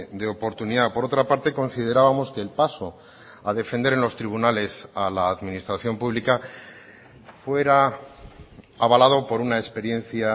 de oportunidad por otra parte considerábamos que el paso a defender en los tribunales a la administración pública fuera avalado por una experiencia